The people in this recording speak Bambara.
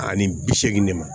Ani bi seegin de ma